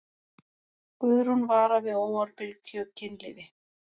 Guðrún vara við óábyrgu kynlífi.